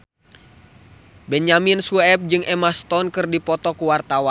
Benyamin Sueb jeung Emma Stone keur dipoto ku wartawan